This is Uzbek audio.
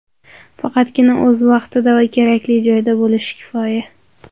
Faqatgina o‘z vaqtida va kerakli joyda bo‘lish kifoya.